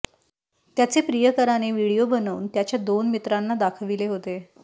त्याचे प्रियकराने व्हिडीओ बनवून त्याच्या दोन मित्रांना दाखविले होते